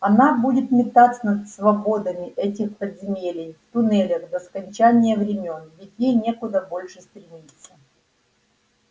она будет метаться под свободами этих подземелий в туннелях до скончания времён ведь ей некуда больше стремиться